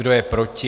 Kdo je proti?